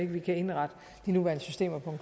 vi kan indrette de nuværende systemer på